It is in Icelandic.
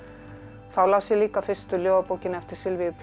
þá las ég líka fyrstu ljóðabókina eftir